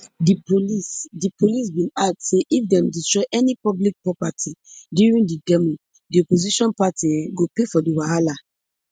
di police di police bin add say if dem destroy any public property during di demo di opposition party um go pay for di wahala